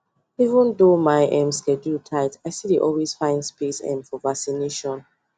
even though my um schedule tight i still dey always find space um for vaccination